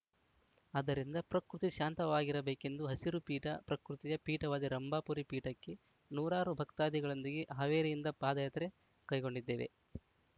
ಆದ್ದರಿಂದ ಪ್ರಕೃತಿ ಶಾಂತವಾಗಿರಬೇಕೆಂದು ಹಸಿರು ಪೀಠ ಪ್ರಕೃತಿಯ ಪೀಠವಾದ ರಂಭಾಪುರಿ ಪೀಠಕ್ಕೆ ನೂರಾರು ಭಕ್ತಾದಿಗಳೊಂದಿಗೆ ಹಾವೇರಿಯಿಂದ ಪಾದಯಾತ್ರೆ ಕೈಗೊಂಡಿದ್ದೇವೆ